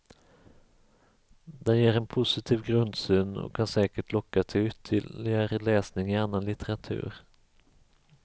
Den ger en positiv grundsyn och kan säkert locka till ytterligare läsning i annan litteratur.